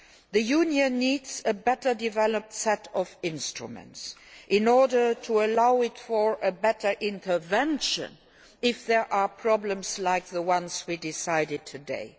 The Union needs a better developed set of instruments in order to allow for better intervention if there are problems like the ones we have decided on today.